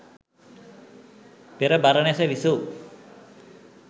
පෙර බරණැස විසූ